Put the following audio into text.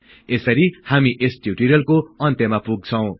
यसरी हामी यस टिउटोरियलको अन्त्यमा पुग्छौं